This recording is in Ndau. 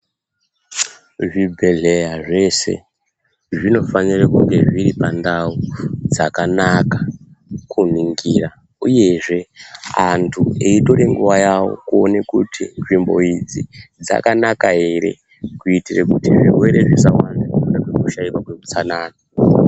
Zvibhedhleya zvese zvinofanira kunga zviri pandau dzakanaka kuningira. Uyezve antu eitora nguwa yawo kuona kuti nzvimbo idzi dzakanaka ere kuitira kuti zvirwere zvisawanda nekuda kwekushaika kweutsanana.